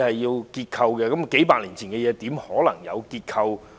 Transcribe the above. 試問數百年前的屋舍，又怎能證明其結構安全呢？